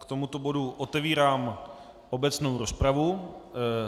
K tomuto bodu otevírám obecnou rozpravu.